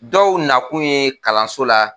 Dɔw nakun ye kalanso la